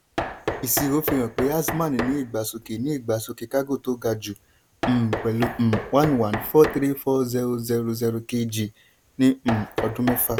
ìṣirò fihàn pé azman ní ìgbésọsókè ní ìgbésọsókè kágò tó ga jù um pẹ̀lú um one one four three four zero zero zero kg ní um ọdún mẹ́fà.